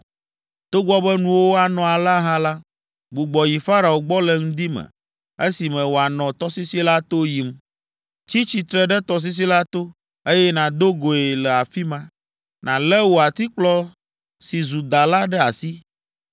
“Togbɔ be nuwo anɔ alea hã la, gbugbɔ yi Farao gbɔ le ŋdi me, esime wòanɔ tɔsisi la to yim. Tsi tsitre ɖe tɔsisi la to, eye nàdo goe le afi ma; nàlé wò atikplɔ si zu da la ɖe asi.